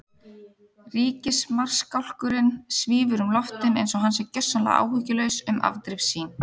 Ríkismarskálkurinn svífur um loftin einsog hann sé gjörsamlega áhyggjulaus um afdrif sín.